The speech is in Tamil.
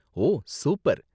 ஓ, சூப்பர்